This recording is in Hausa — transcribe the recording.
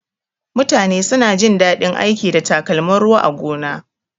Mutane suna jin daɗin aiki da takalmin ruwa a gona.